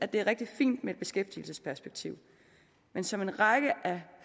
det er rigtig fint med et beskæftigelsesperspektiv men som en række af